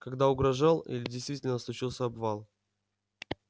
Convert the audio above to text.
когда угрожал или действительно случился обвал